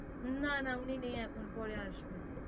না না উনি নেই এখন পরে আসবেন